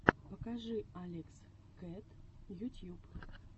покажи алекс кэт ютьюб